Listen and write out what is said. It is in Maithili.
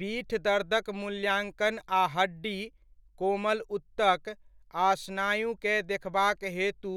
पीठ दर्दक मुल्याङ्कन आ हड्डी, कोमल ऊतक, आ स्नायुकेँ देखबाक हेतु